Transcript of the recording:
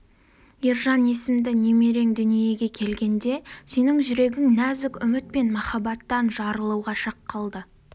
ержан есімді немерең дүниеге келгенде сенің жүрегің нәзік үміт пен махаббаттан жарылуға шақ қалды